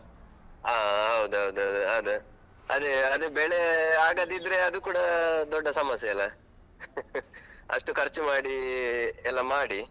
ಹಾ ಹೌದೌದು ಹೌದು ಅದೇ, ಅದೇ ಅದೇ ಬೆಳೆ ಆಗದಿದ್ರೆ ಅದು ಕೂಡ ದೊಡ್ಡ ಸಮಸ್ಯೆ ಅಲ ಅಷ್ಟು ಖರ್ಚು ಮಾಡಿ ಎಲ್ಲ ಮಾಡಿ.